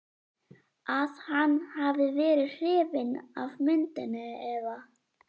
að hann hafi verið hrifinn af myndinni eða.